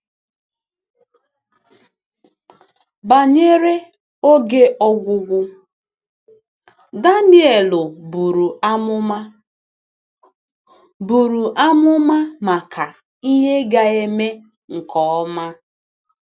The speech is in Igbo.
Banyere “oge ọgwụgwụ,” Danielu buru amụma buru amụma maka ihe ga-eme nke ọma.